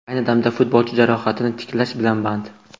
Ayni damda futbolchi jarohatini tiklash bilan band.